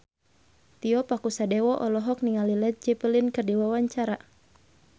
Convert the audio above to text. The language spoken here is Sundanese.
Tio Pakusadewo olohok ningali Led Zeppelin keur diwawancara